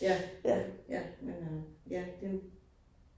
Ja. Ja men øh ja det